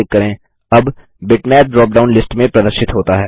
अब bitmap bitmap drop down list में प्रदर्शित होता है